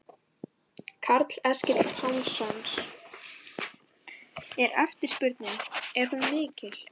Karl Eskil Pálsson: Er eftirspurnin, er hún mikil?